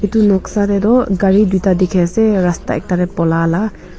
itu noksa teh tu gari duita dikhi ase rasta ekta teh polia la.